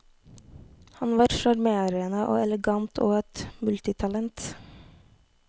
Han var sjarmerende og elegant og et multitalent.